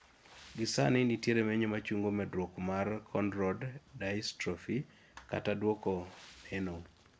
gi sani, nitiere menyo machungo medruok mar Cone rod dystrophykata duoko neno